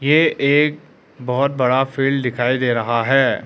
ये एक बहोत बड़ा फील्ड दिखाई दे रहा है।